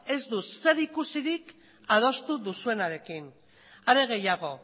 ez du zerikusirik adostu duzuenarekin are gehiago